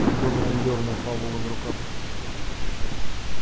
донован дёрнул пауэлла за рукав